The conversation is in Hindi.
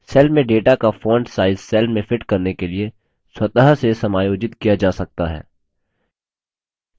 cell में data का font size cell में fit करने के लिए स्वतः से समायोजित किया जा सकता है